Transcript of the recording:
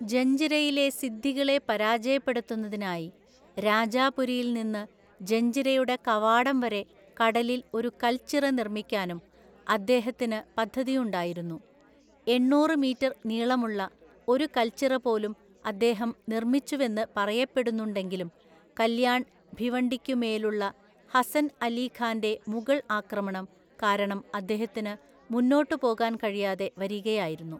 ജഞ്ജിരയിലെ സിദ്ദികളെ പരാജയപ്പെടുത്തുന്നതിനായി രാജാപുരിയിൽ നിന്ന് ജഞ്ജിരയുടെ കവാടംവരെ കടലിൽ ഒരു കൽച്ചിറ നിർമ്മിക്കാനും അദ്ദേഹത്തിന് പദ്ധതിയുണ്ടായിരുന്നു. എണ്ണൂറ് മീറ്റർ നീളമുള്ള ഒരു കൽച്ചിറപോലും അദ്ദേഹം നിർമ്മിച്ചുവെന്ന് പറയപ്പെടുന്നുണ്ടെങ്കിലും, കല്യാൺ ഭിവണ്ടിക്കുമേലുള്ള ഹസൻ അലി ഖാൻ്റെ മുഗൾ ആക്രമണം കാരണം അദ്ദേഹത്തിന് മുന്നോട്ട് പോകാൻ കഴിയാതെ വരികയായിരുന്നു.